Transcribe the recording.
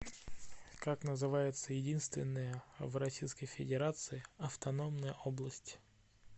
как называется единственная в российской федерации автономная область